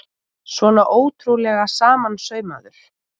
Svona ótrúlega samansaumaður!